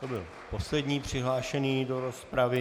To byl poslední přihlášený do rozpravy.